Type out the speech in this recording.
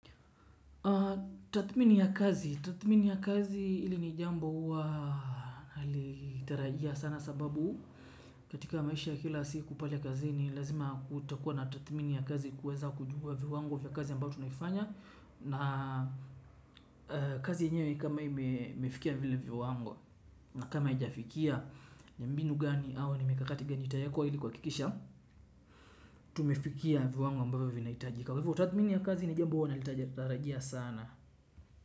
Tathmini ya kazi. Tathmini ya kazi hili ni jambo huwa nalitarajia sana sababu katika maisha kila siku pale kazi ni lazima kutakuwa na tathmini ya kazi kuweza kujua viwango vya kazi ambayo tunaifanya na kazi yenyewe kama hii imefikia vile viwango na kama haijafikia ni mbinu gani au ni mikakati gani itawekwa ili kuhakikisha tumefikia viwango ambavyo vinahitajika. Tathmini ya kazi ni jambo huwa natarajia sana.